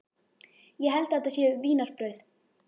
Ég held að þetta séu vínarbrauð.